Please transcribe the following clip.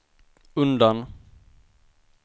undan